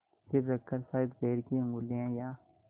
सिर रखकर शायद पैर की उँगलियाँ या